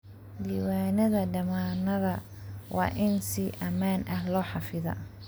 Diiwaanada dammaanadda waa in si ammaan ah loo xafidaa.